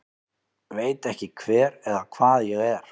Veit ekki hver eða hvað ég er